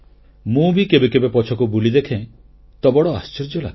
ମୁଁ ବି କେବେ କେବେ ପଛକୁ ବୁଲି ଦେଖେ ତ ବଡ଼ ଆଶ୍ଚର୍ଯ୍ୟ ଲାଗେ